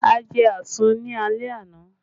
A jẹ àsun ni alẹ́ àná